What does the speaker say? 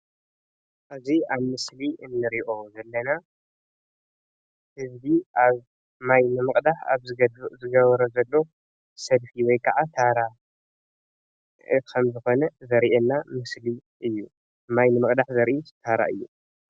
እዙይ ኣብ ምስሊ እንርእዮ ዘለና እዙይ ኣብ ማይ ንምቅዳሕ ኣብ ዝግብሮ ዘሎ ሰብ እዩ ወይ ከዓ ታራ ከምዝኮነ ዘርእየና ምስሊ እዩ። ማይ ንምቅዳሕ ዘርኢ ታራ እዩ።